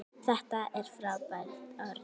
Þetta er frábært orð.